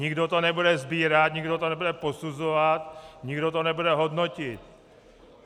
Nikdo to nebude sbírat, nikdo to nebude posuzovat, nikdo to nebude hodnotit.